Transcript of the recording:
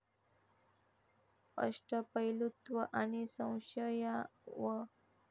अष्टपैलुत्व आणि संशयाव